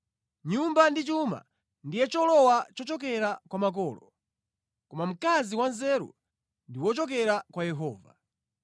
Nyumba ndi chuma ndiye cholowa chochokera kwa makolo; koma mkazi wanzeru ndi wochokera kwa Yehova.